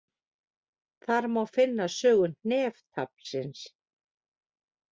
Þar má finna sögu hneftaflsins.